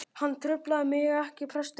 Hann truflaði mig ekkert, presturinn.